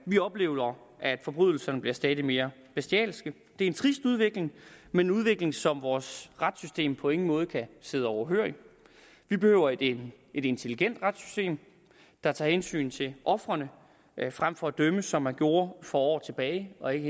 vi oplever at forbrydelserne bliver stadig mere bestialske det er en trist udvikling men en udvikling som vores retssystem på ingen måde kan sidde overhørig vi behøver et intelligent retssystem der tager hensyn til ofrene frem for at dømme som man gjorde for år tilbage og ikke